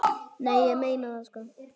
Nei, ég meina það sko.